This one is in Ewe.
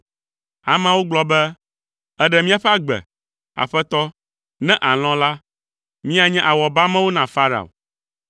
Ameawo gblɔ be “Èɖe míaƒe agbe! Aƒetɔ, ne àlɔ̃ la, míanye awɔbamewo na Farao.”